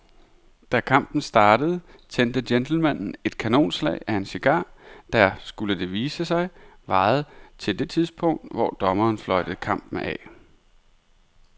Da kampen startede tændte gentlemanen et kanonslag af en cigar, der, skulle det vise sig, varede til det tidspunkt, hvor dommeren fløjtede kampen af.